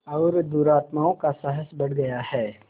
और दुरात्माओं का साहस बढ़ गया है